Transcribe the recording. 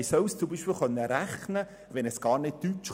Wie soll es zum Beispiel rechnen, wenn es kein Deutsch versteht?